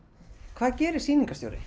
hvað gerir sýningarstjóri